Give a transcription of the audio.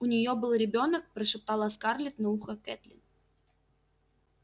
у неё был ребёнок прошептала скарлетт на ухо кэтлин